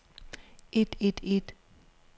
et et et